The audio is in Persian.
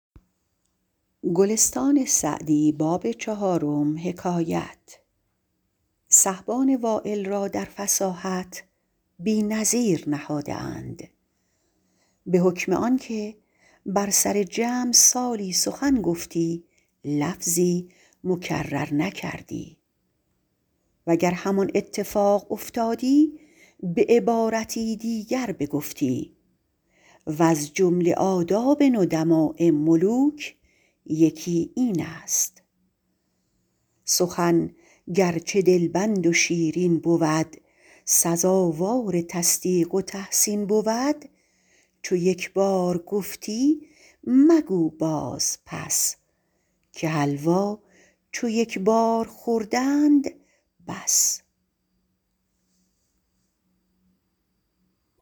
سحبان وایل را در فصاحت بی نظیر نهاده اند به حکم آن که بر سر جمع سالی سخن گفتی لفظی مکرر نکردی وگر همان اتفاق افتادی به عبارتی دیگر بگفتی وز جمله آداب ندماء ملوک یکی این است سخن گرچه دلبند و شیرین بود سزاوار تصدیق و تحسین بود چو یک بار گفتی مگو باز پس که حلوا چو یک بار خوردند بس